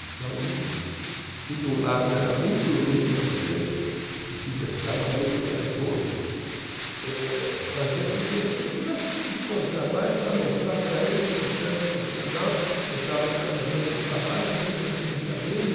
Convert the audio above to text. Então isso, se de um lado era muito ruim para você e te deixava muito raivoso, eh fazia com que você tivesse que se esforçar mais para mostrar para ele que você era um profissional, você estava realizando um trabalho e você dependia dele.